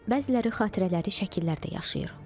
Bəziləri xatirələri şəkillərdə yaşayır.